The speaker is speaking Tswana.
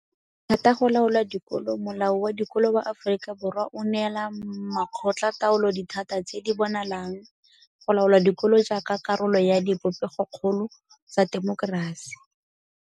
Dithata go laola dikolo Molao wa Dikolo wa Aforika Borwa o neela makgotlataolo dithata tse di bonalang go laola dikolo jaaka karolo ya dipopegokgolo tsa temokerasi.